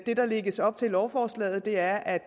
det der lægges op til i lovforslaget er at